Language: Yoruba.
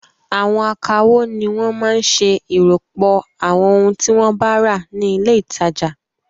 Àwọn akawó ni wọ́n máa ń ṣe ìròpọ̀ àwọn ohun tí wọ́n bá rà ní ilé-ìtajà.